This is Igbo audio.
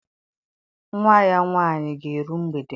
Nwa ya nwaanyị ga-eru mgbede.